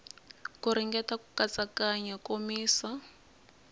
ku ringeta ku katsakanya komisa